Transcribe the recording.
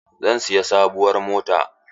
Zan siyi sabuwar mota.